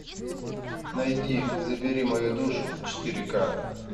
найди забери мою душу четыре ка